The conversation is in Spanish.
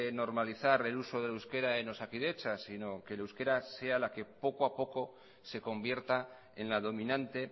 normalizar el uso del euskera en osakidetza sino que el euskera sea la que poco a poco se convierta en la dominante